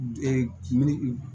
min